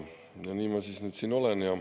Nii ma nüüd siis siin olen.